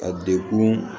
A dekun